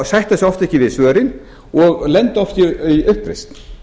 sætta sig oft ekki við svörin og lenda oft í uppreisn